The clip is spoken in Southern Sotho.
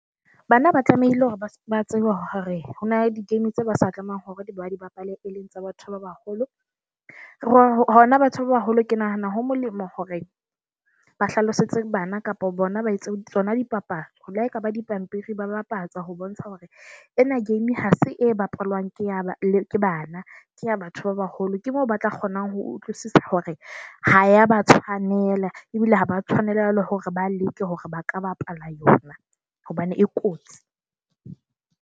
Bana ba tlamehile hore ba tseba hore ho na di-game tse ba sa tlamehang hore ba di bapale, e leng tsa batho ba baholo. Hona batho ba baholo ke nahana ho molemo hore ba hlalosetse bana kapo bona ba tsona di papadi. Ho lehaekaba dipampiri ba bapatsa ho bontsha hore ena game ha se e bapalwang ke ya bana, ke ya batho ba baholo. Ke mo ba tla kgonang ho utlwisisa hore ha ya ba tshwanela ebile ha ba tshwanela jwalo hore ba leke hore ba ka bapala yona, hobane e kotsi.